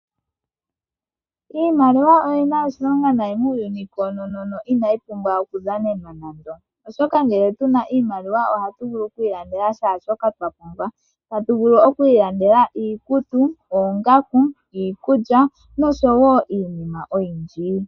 Iimaliwa oyi na oshilonga muuyuni koonono no inayi pumbwa oku dhanenwa nando, oshoka ngele tu na iimaliwa ohatu vulu oku ilandela kehe shoka twa pumbwa. Otatu vulu oku ilandela iikulya, iikutu, oongaku noshowo wo iinima oyindji.